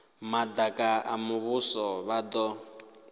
madaka a muvhuso vha do